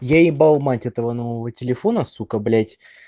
я ебал мать этого нового телефона сука блять